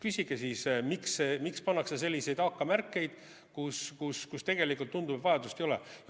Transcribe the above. Küsige siis, miks pannakse selliseid AK-märkeid sinna, kuhu tegelikult tundub, et vajadust ei ole.